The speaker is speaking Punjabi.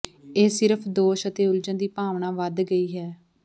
ਇਹ ਸਿਰਫ ਦੋਸ਼ ਅਤੇ ਉਲਝਣ ਦੀ ਭਾਵਨਾ ਵੱਧ ਗਈ ਹੈ